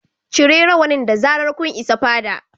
Cire rawanin da zarar kun isa fada